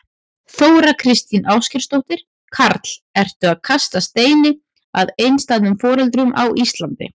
Þóra Kristín Ásgeirsdóttir: Karl, ertu að kasta steini að einstæðum foreldrum á Íslandi?